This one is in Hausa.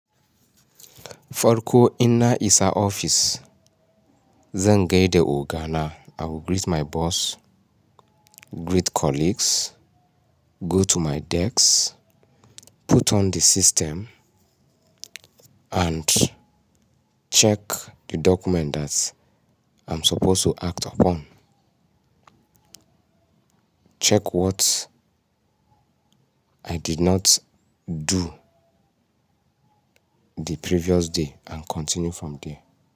Farko inna isa office, zan gaida oga na. I will greet my boss, greet colleagues, go to my desk, put on the system and check the document that I'm supposed to act upon. Check what I did not do the previous day and continue from there.